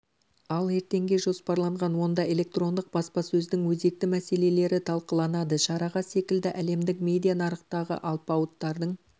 ал ертеңге жоспарланған онда электрондық баспасөздің өзекті мәселелері талқыланады шараға секілді әлемдік медиа нарықтағы алпауыттардың